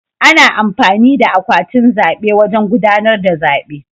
Ana amfani da akwatin zaɓe wajen gudanar da zaɓe.